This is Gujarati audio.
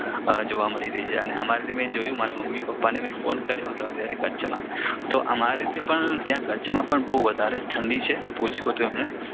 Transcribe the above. જોવા મળી રહી છે અને પણ મારા મમ્મી પપ્પાને ફોન કર્યો હતો આજે કચ્છમાં તો અમારે ત્યાં પણ ત્યાં કચ્છમાં બહુ વધારે જ ઠંડી છે મે પૂછ્યું હતું એમને